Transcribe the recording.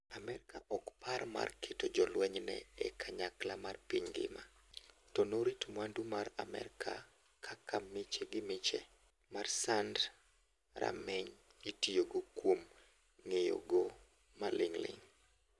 Amerka ok par mar keto jolwenyne e kanyakla mar piny ngima, to norit mwandu mar Amerka-kaka miche gi miche mar sand rameny itiyogo kuom ng'eyo go maling' ling'.